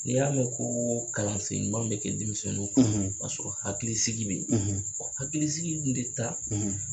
N'i y'a mɛn ko kalansen ɲuman bɛ kɛ denmisɛnninw kɔrɔ k'a sɔrɔ hakilisigi bɛ yen hakilisigi dun tɛ taa